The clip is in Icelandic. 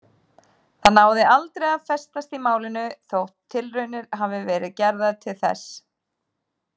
Það náði aldrei að festast í málinu þótt tilraunir hafi verið gerðar til þess.